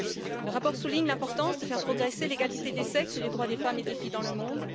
Il souligne l'importance de faire progresser l'égalité des sexes et les droits des femmes et des filles dans le monde.